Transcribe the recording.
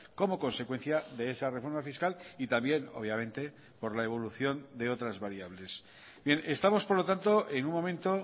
como consecuencia de esa reforma fiscal y también obviamente por la evolución de otras variables estamos por lo tanto en un momento